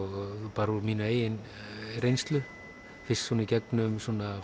bara úr minni eigin reynslu fyrst svona gegnum